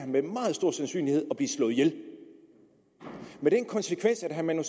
med meget stor sandsynlighed at blive slået ihjel det har den konsekvens at herre manu